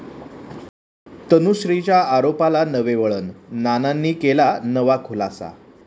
तनुश्रीच्या आरोपाला नवे वळण, नानांनी केला नवा खुलासा